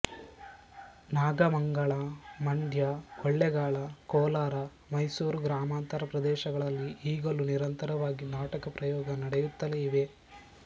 ನಾಗಮಂಗಲ ಮಂಡ್ಯ ಕೊಳ್ಳೇಗಾಲ ಕೋಲಾರ ಮೈಸೂರು ಗ್ರಾಮಾಂತರ ಪ್ರದೇಶಗಳಲ್ಲಿ ಈಗಲೂ ನಿರಂತರವಾಗಿ ನಾಟಕ ಪ್ರಯೋಗ ನಡೆಯುತ್ತಲೇ ಇವೆ